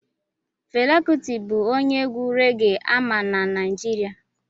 Fela kuti bụ onye egwu reggae ama na Naịjirịa